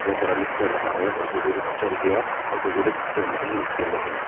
बहुत सारा लोग चढ़ रहा है और कोई कोई लोग चढ़ गया और कोई कोई लोग चढ़ने के लिए नीचे में है।